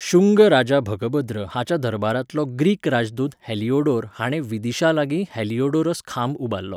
शुंग राजा भगभद्र हाच्या दरबारांतलो ग्रीक राजदूत हेलिओडोर हाणें विदिशालागीं हेलिओडोरस खांब उबारलो.